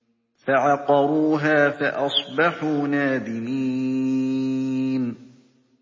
فَعَقَرُوهَا فَأَصْبَحُوا نَادِمِينَ